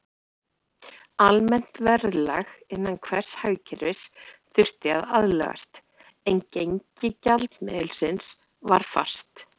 Almennt verðlag innan hvers hagkerfis þurfti að aðlagast, en gengi gjaldmiðilsins var fast.